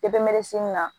na